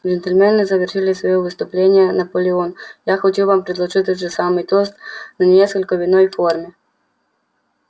джентльмены завершил своё выступление наполеон я хочу вам предложить тот же самый тост но несколько в иной форме